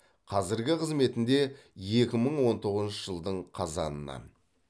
қазіргі қызметінде екі мың он тоғызыншы жылдың қазанынан